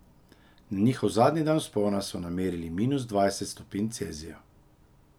Na njihov zadnji dan vzpona so namerili minus dvajset stopinj Celzija.